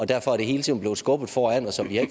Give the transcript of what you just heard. derfor er det hele tiden blevet skubbet foran os og vi har